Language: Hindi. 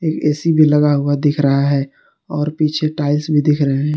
ए_सी भी लगा हुआ दिख रहा है और पीछे टाइल्स भी दिख रहे हैं।